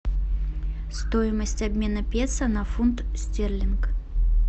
стоимость обмена песо на фунт стерлинг